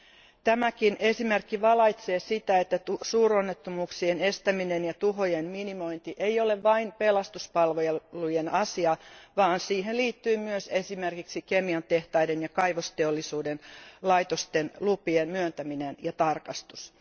Myös tämä esimerkki valaisee sitä, että suuronnettomuuksien estäminen ja tuhojen minimointi ei ole vain pelastuspalvelujen asia, vaan siihen liittyy myös esimerkiksi kemiantehtaiden ja kaivosteollisuuden laitosten lupien myöntäminen ja tarkastus.